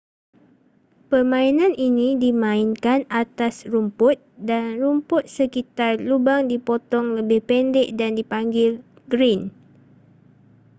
permainan ini dimainkan atas rumput dan rumput sekitar lubang dipotong lebih pendek dan dipanggil green